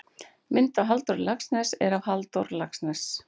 Mynd af Halldóri Laxness er af Halldór Laxness.